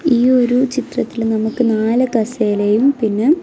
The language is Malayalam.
ഈയൊരു ചിത്രത്തില് നമുക്ക് നാല് കസേലയും പിന്നെ--